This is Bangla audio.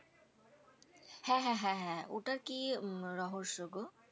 হ্যা হ্যা হ্যা হ্যা ওটার কি উম রহস্য গো?